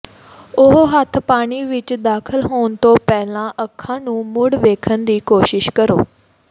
ਉਹ ਹੱਥ ਪਾਣੀ ਵਿੱਚ ਦਾਖਲ ਹੋਣ ਤੋਂ ਪਹਿਲਾਂ ਅੱਖਾਂ ਨੂੰ ਮੁੜ ਵੇਖਣ ਦੀ ਕੋਸ਼ਿਸ਼ ਕਰੋ